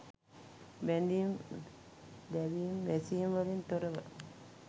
බැඳීම් දැවීම් වැසීම් වලින් තොරව